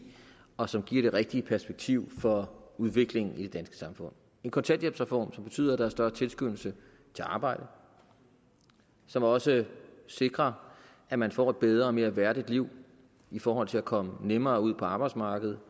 og som giver det rigtige perspektiv for udviklingen i det danske samfund en kontanthjælpsreform som betyder at der er større tilskyndelse til at arbejde og som også sikrer at man får et bedre og mere værdigt liv i forhold til at komme nemmere ud på arbejdsmarkedet